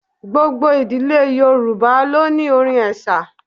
Gbogbo ìdílé Yorùbá ló ní orin ẹ̀sà.